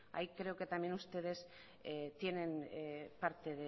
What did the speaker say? ahí creo que también ustedes tienen parte